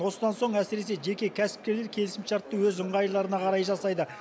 осыдан соң әсіресе жеке кәсіпкерлер келісімшартты өз ыңғайларына қарай жасайды